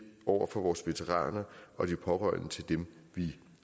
over for vores veteraner og de pårørende til dem vi